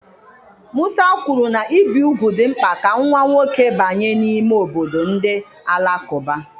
Musa kwuru na ibi úgwù dị mkpa ka nwa nwoke banye n'ime obodo ndị Alakụba.